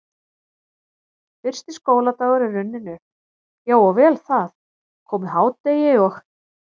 Fyrsti skóladagur er runninn upp, já og vel það, komið hádegi og